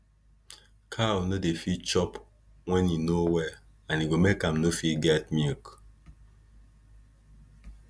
cow no dey fit dey chop when e no well and e go make am no fit get milk